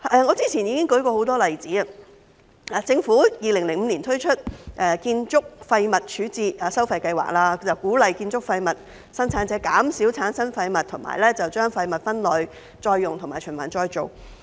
我早前已舉出多個例子，政府在2005年推出建築廢物處置收費計劃，鼓勵建築廢物生產者減少產生廢物，並把廢物分類、再用和循環再造。